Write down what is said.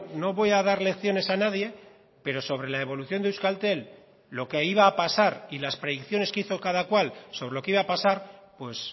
no voy a dar lecciones a nadie pero sobre la evolución de euskaltel lo que iba a pasar y las predicciones que hizo cada cual sobre lo que iba a pasar pues